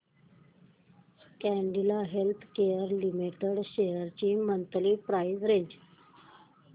Cadila healthcare limited shares ची monthly price range